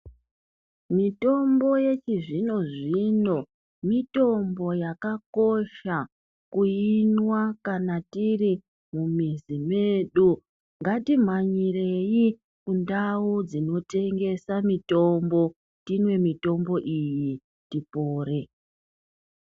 Mitombo yechi zvino zvino mitombo yaka kosha kuinwa kana tiri mu mizi medu ngati mhanyirei kundau dzino tengesa mitombo timwe mitombo iyi tipore.